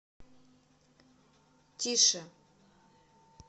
тише